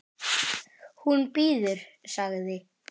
Hún bíður, sagði